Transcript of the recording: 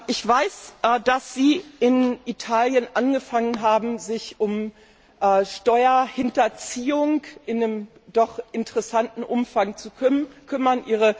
Ich weiß, dass Sie in Italien angefangen haben, sich um Steuerhinterziehung in einem doch interessanten Umfang zu kümmern.